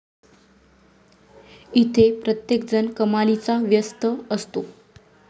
इथे प्रत्येकजण कमालीचा व्यस्त असतो.